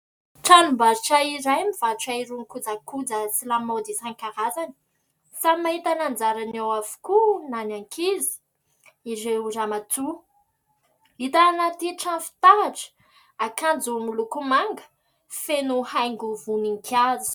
Tranom-barotra iray mivarotra irony kojakoja sy lamaody isan-karazany, samy mahita ny anjarany eo avokoa na ny ankizy, ireo ramatoa, hita anaty trano fitaratra, akanjo miloko manga feno haingo voninkazo.